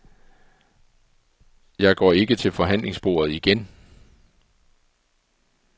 Jeg går ikke til forhandlingsbordet igen.